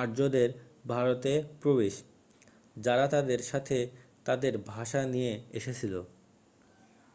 আর্যদের ভারতে প্রবেশ যারা তাদের সাথে তাদের ভাষা নিয়ে এসেছিল